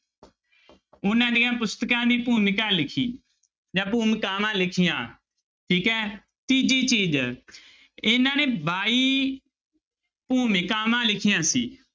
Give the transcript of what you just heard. ਉਹਨਾਂ ਦੀਆਂ ਪੁਸਤਕਾਂ ਦੀ ਭੂਮਿਕਾ ਲਿਖੀ ਜਾਂ ਭੂਮਿਕਾਵਾਂ ਲਿਖੀਆਂ ਠੀਕ ਹੈ ਤੀਜੀ ਚੀਜ਼ ਇਹਨਾਂ ਨੇ ਬਾਈ ਭੂਮਿਕਾਵਾਂ ਲਿਖੀਆਂ ਸੀ।